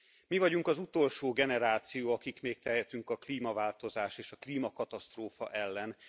Mi vagyunk az utolsó generáció, akik még tehetünk a klímaváltozás és a klímakatasztrófa ellen.